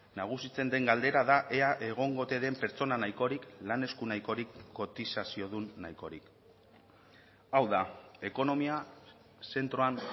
nagusitzen den galdera da ea egongo ote den pertsona nahikorik lan esku nahikorik kotizaziodun nahikorik hau da ekonomia zentroan